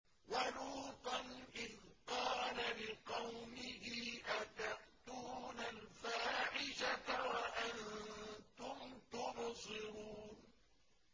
وَلُوطًا إِذْ قَالَ لِقَوْمِهِ أَتَأْتُونَ الْفَاحِشَةَ وَأَنتُمْ تُبْصِرُونَ